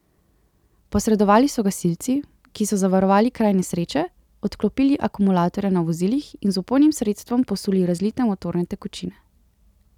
Posredovali so gasilci, ki so zavarovali kraj nesreče, odklopili akumulatorja na vozilih in z vpojnim sredstvom posuli razlite motorne tekočine.